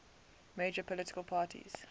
major political parties